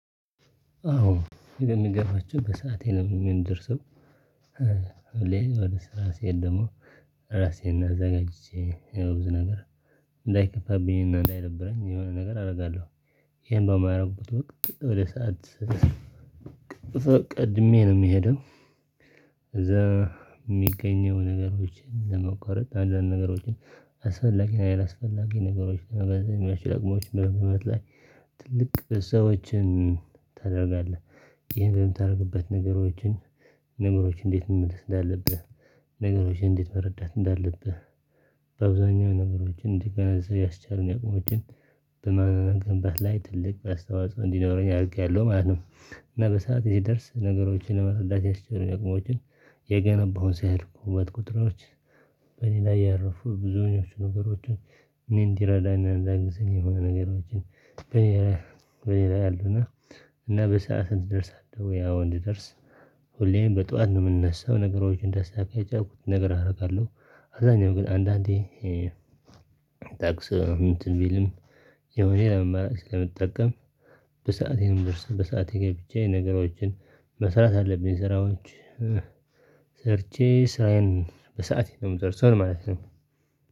አዎ እንደነገርኳችሁ በሰአቴ ነው የምንደርሰው ወደ ስራ ስሄድ ደግሞ ራሴን አዘጋጅቼ የብዙ ነገር እንዳይከፋብኝ እንዳይነብረኝ የሆነ ነገር አደርጋለሁ። ይሄን በማያደርግበት ወደ ከሰው ቀድሜ ነው ምሄደው። እዛ የሚገኘው ነገሮችን ለመቋረጥ አንዳንድ ነገሮችን አስፈላጊ እና ያለአስፈላጊ ነገሮች ነው በዚህ መልእክት ደግሞዎች በመበት ላይ ትልቅ ሰዎችን ታደርጋለህ ይህን በምታደርግበት ነገሮችን ነገሮችን እንዴት መመለስ እንዳለብህ ነገሮችን እንዴት መረዳት እንዳለብህ በአብዛኛው ነገሮችን እንዲግነዘብ ያስቻሉን ነገሮችን በመገንባት ላይ ትልቅ አስተዋጽኦ እንዲኖረኝ አድርጌያለሁ ማለት ነው። እና በሰአት የሚደርስ ነገሮችን ለመስረዳት ያስቸግረን የቅመውን ነገሮችን የገነባው ሲያደርጉበት ቁጥሮች በሌላ ያረፉ ብዙኞቹ ነገሮችን እኔ እንድረዳ እና እንዲያግዘኝ የሚረዱ የሆነ ነገሮችን በሌላ በሌላ ያሉና እና በሰአት እንድደርስ አደረገው ያው እንድደርስ ሁሌም በጠዋት ነው የምንነሳው ነገሮችን አስተካክዬ ያልኩት ነገር አደርጋለሁ። አብዛኛው ግን አንዳንዴ ታክሲ እንትን ቢልም የሆነ አማራጭ ስለምጠቀም በሰአቴ ነው ምደርሰው። በሰአቴ ገብቼ ነገሮችን መስራት አለብኝ ስራዎች ሰርቼ ስራዬን በሰአቴ ነው የምጨርሰው ለማለት ነው